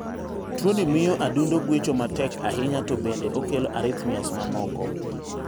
Tuoni miyo adundo gwecho matek ahinya to bende okelo arrhythmias mamoko.